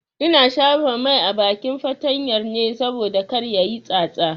Ina shafa mai a bakin fatanyar ne saboda kar tayi tsatsa.